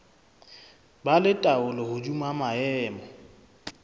ba le taolo hodima maemo